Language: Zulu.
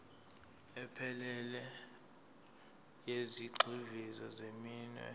ephelele yezigxivizo zeminwe